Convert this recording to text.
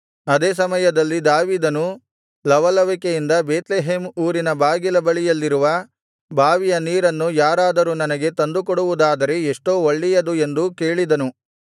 ಅದೇ ಸಮಯದಲ್ಲಿ ದಾವೀದನು ಲವಲವಿಕೆಯಿಂದ ಬೇತ್ಲೆಹೇಮ್ ಊರಿನ ಬಾಗಿಲ ಬಳಿಯಲ್ಲಿರುವ ಬಾವಿಯ ನೀರನ್ನು ಯಾರಾದರೂ ನನಗೆ ತಂದುಕೊಡುವುದಾದರೆ ಎಷ್ಟೋ ಒಳ್ಳೆಯದು ಎಂದೂ ಕೇಳಿದನು